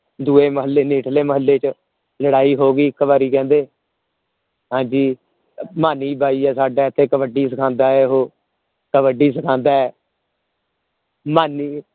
ਦੂਹੇ ਮਹੱਲੇ ਨੇੜਲੇ ਮਹੱਲੇ ਚ ਲੜਾਈ ਹੋ ਗ ਇੱਕ ਵਾਰੀ ਕਹਿੰਦੇ ਹਾਂਜੀ ਮਾਨੀ ਬਾਈ ਹੈ ਸਦਾ ਇਥੇ ਕਬੱਡੀ ਸਿਖਾਂਦਾ ਹੈ ਉਹ ਕਬੱਡੀ ਸਿਖਾਂਦਾ ਹੈ ਮਾਨੀ